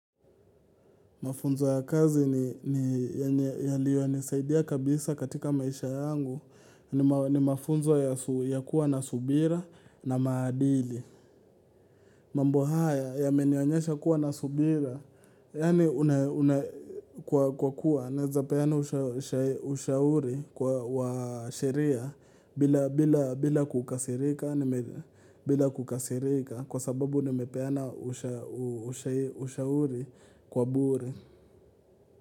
Mafunzo ya kazi yaliyonisaidia kabisa katika maisha yangu ni mafunzo ya kuwa na subira na maadili. Mambo haya yamenionyesha kuwa na subira, yaani kwa kuwa, naeza peana ushauri wa sheria bila kukasirika, kwa sababu nimepeana ushauri kwa bure.